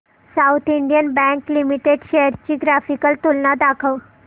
south Indian bank limited shares ची graphical तुलना दाखव